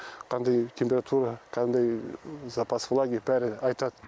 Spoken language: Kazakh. қандай температура қандай запас влаги бәрін айтады